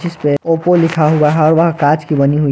इसपे ओप्पो लिखा हुआ है वह कांच की बनी हुई है।